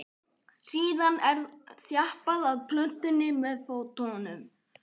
síðan er þjappað að plöntunni með fótum